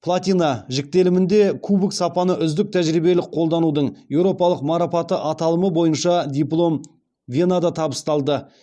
платина жіктелімінде кубок сапаны үздік тәжірибелік қолданудың еуропалық марапаты аталымы бойынша диплом венада табысталды